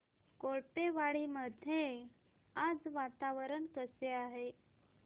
कोळपेवाडी मध्ये आज वातावरण कसे आहे